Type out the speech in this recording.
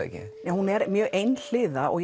er mjög einhliða og